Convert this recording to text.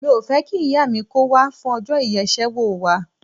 Mi ò fẹ́ kí ìyá mi kó wá fún ọjọ́ ìyeṣẹ́wò wa.